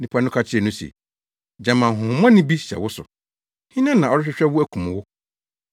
Nnipa no ka kyerɛɛ no se, “Gyama honhommɔne bi hyɛ wo so? Hena na ɔrehwehwɛ wo akum wo?”